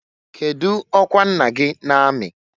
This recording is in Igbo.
Kedu ọkwa nna gị na amị?